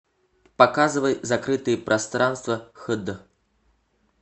показывай закрытые пространства хд